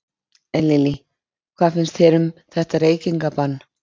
Lillý: Hvað finnst þér um þetta reykingabann?